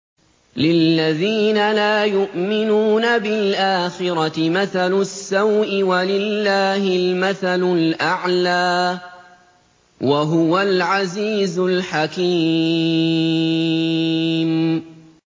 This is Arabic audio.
لِلَّذِينَ لَا يُؤْمِنُونَ بِالْآخِرَةِ مَثَلُ السَّوْءِ ۖ وَلِلَّهِ الْمَثَلُ الْأَعْلَىٰ ۚ وَهُوَ الْعَزِيزُ الْحَكِيمُ